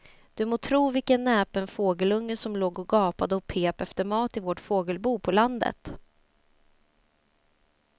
Du må tro vilken näpen fågelunge som låg och gapade och pep efter mat i vårt fågelbo på landet.